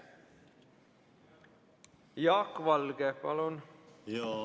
Jaak Valge, palun!